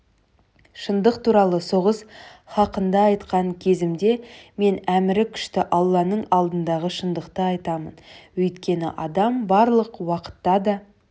шындық туралы соғыс хақында айтқан кезімде мен әмірі күшті алланың алдындағы шындықты айтамын өйткені адам барлық уақытта да